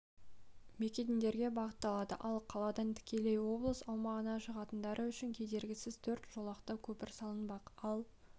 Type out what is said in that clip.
мекендерге бағытталады ал қаладан тікелей облыс аумағына шығатындары үшін кедергісіз төрт жолақты көпір салынбақ ал